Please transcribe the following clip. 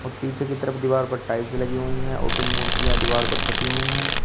और पीछे की तरफ दीवार पर टाइल्स लगी हुई है और ऊपर मूर्तियों दीवार पर छपी हुई है।